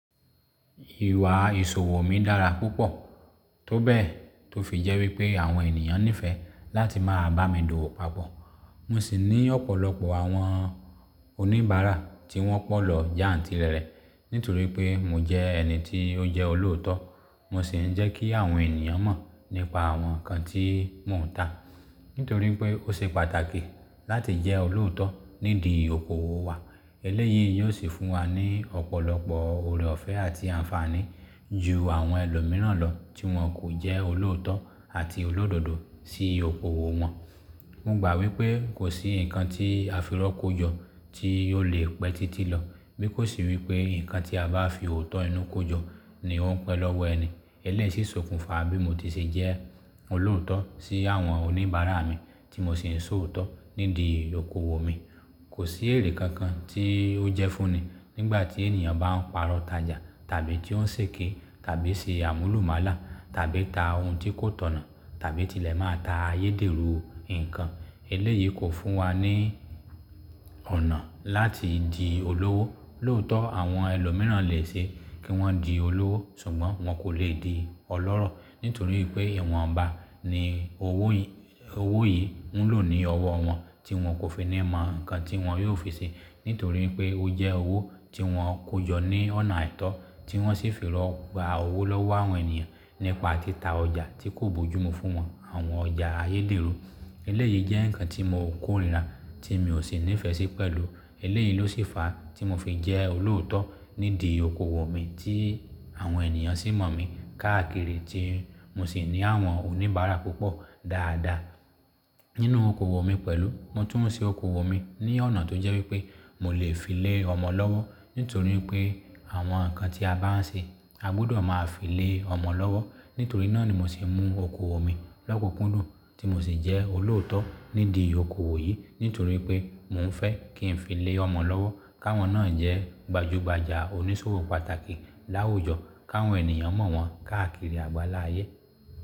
Ìwà ìṣòwò mi dára púpọ̀, tó bẹ́ẹ̀ tó fi jẹ́ wípé àwọn ènìyàn nífẹ̀ẹ́ láti máa bá mi dòwò papọ̀. Mo sì ní ọ̀pọ̀lọpọ̀ àwọn oníbàárà tí wọ́n pọ̀ lọ jantìrẹ̀rẹ̀ nítorí pé mo jẹ́ ẹni tí ó jẹ́ olóòótọ́, mo sì ń jẹ́ kí àwọn ènìyàn mọ̀ nípa àwọn nǹkan tí mò ń tà. Nítorí wipé ó ṣe pàtàkì láti jẹ́ olóòótọ́ nídìí okoòwò wa. Eléyìí yóò sì fún wa ní ọ̀pọ̀lọpọ̀ ọ̀rọ̀ ọ̀fẹ́ àti àǹfààní ju àwọn ẹlòmíràn lọ tí wọ́n kò jẹ́ olóòótọ́ àti olódodo sí okoòwò wọn. Mo gbà wípé kò sí nǹkan tí afirọ́ kó jọ tí yóò lè pẹ́ títí lọ, bí kò se wípé nǹkan tí a bá fi òótọ́ inú kó jọ ni ó ń pẹ́ lọ́wọ́ ẹni. Eléyìí sì sokùnfa bí mo ti ṣe jẹ́ olóòótọ́ sí àwọn oníbàárà mi tí mo sì ń ṣòótọ́ nídìí okoòwò mi. Kò sí èrè kankan tí ó jẹ́ fúnni nígbà tí ènìyàn bá ń pàrọ̀ tajà tàbí tí ó ń ṣèké tàbí ṣe àmúlùmálà tàbí ta ohun tí kò tọ̀nà tàbí tilẹ̀ máa ta ayédèrú nǹkan. Eléyìí kò fún wa ní ọ̀nà láti di olówó. Lòótọ́ àwọn ẹlòmíràn lè ṣe kí wọ́n di olówó ṣùgbọ́n wọn kò lè di ọlọ́rọ̀ nítorí pé ìwọ̀nba ni owó yí, owo yii ń lò ní ọwọ́ wọn tí wọn kò fi ni mọ nǹkan tí wọn yóò fi ṣe nítorí pé ó jẹ́ owó tí wọn kò jọ ní ọ̀nà àìtọ́ tí wọ́n sì firọ́ gba owó lọ́wọ́ àwọn ènìyàn nípa títa ọjà tí kò bójú mú fún wọn àwọn ọjà ayédèrú. Eléyìí jẹ́ nǹkan tí mo kórìíra tí mi ò sì nífẹ̀ẹ́ sí pẹ̀lú. Eléyìí ló sì fa a tí mo fi jẹ́ olóòótọ́ nídìí okoòwò mi tí àwọn ènìyàn sì mọ̀ mi káàkiri tí mo sì ní àwọn oníbàárà púpọ̀ dáadáa nínú okoòwò mi pẹ̀lú. Mo tún ma n se okoòwò mi ní ọ̀nà tó jẹ́ wípé mo lè fi lé ọmọ lọ́wọ́ nítorí wipé àwọn nǹkan tí a bá ń ṣe a gbudọ̀ máa fi lé ọmọ lọ́wọ́. Nítorí náà ni mo se mú okoòwò mi lokukùndùn tí mo sì jẹ́ olóòótọ́ nídìí okoòwò yìí nítorí pé mò ń fẹ́ kí n fi lé ọmọ lọ́wọ́ káwọn náà jẹ́ gbajúgbajà onísòwò pàtàkì láwùjọ káwọn ènìyàn mọ̀ wọ́n káàkiri àgbáláyé.